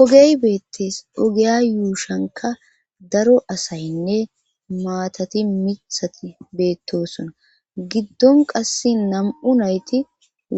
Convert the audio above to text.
ogey beettees ogeya yuushanka daro asaynne maatati mithati beettosona giddon qasse nam7u nayti